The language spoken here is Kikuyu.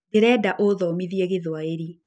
Ndĩrenda ũthomithie Gĩthwaĩri.